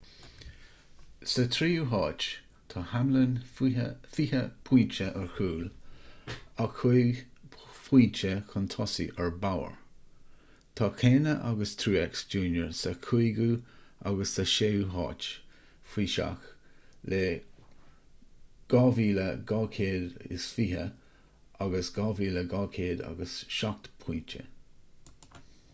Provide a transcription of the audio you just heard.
sa tríú háit tá hamlin fiche pointe ar chúl ach cúig phointe chun tosaigh ar bowyer tá kahne agus truex jr sa chúigiú agus sa séú háit faoi seach le 2,220 agus 2,207 pointe